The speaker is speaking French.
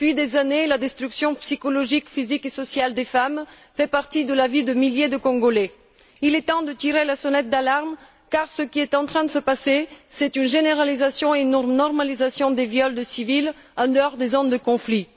Depuis des années, la destruction psychologique, physique et sociale des femmes fait partie de la vie de milliers de Congolais. Il est temps de tirer la sonnette d'alarme, car ce qu'il est en train de se passer, c'est une généralisation et une normalisation des viols de civils, en dehors des zones de conflit.